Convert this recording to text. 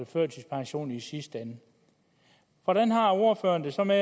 førtidspension i sidste ende hvordan har ordføreren det så med